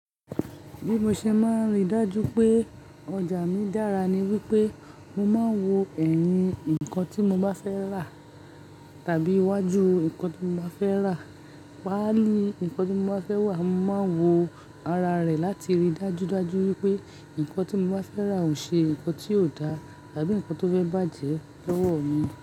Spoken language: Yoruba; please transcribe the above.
Bí mo ṣe máa n ríi dájú pé ọjà mi dára ni wípé mo máa ń wo ẹ̀yìn nǹkan tí mo bá fẹ́ rà tàbí iwájú nǹkan tí mo bá fẹ́ rà. Pàálí nǹkan tí mo bá fẹ́ wà, ohun mo máa n wo ara rẹ̀ láti ríi dájú dájú wípé nǹkan tí mo bá fẹ́ rà ò ṣe nǹkan tí ò da àbí nǹkan tó fẹ́ bàjẹ́ lọ́wọ́ mi.